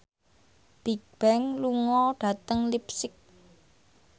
Bigbang lunga dhateng leipzig